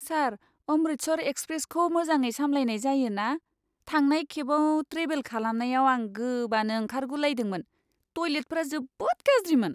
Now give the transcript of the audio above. सार, अमृतसर एक्सप्रेसखौ मोजाङै सामलायनाय जायो ना? थांनाय खेबाव ट्रेभेल खालामनायाव आं गोबानो ओंखारगुलायदोंमोन! टयलेटफोरा जोबोद गाज्रिमोन!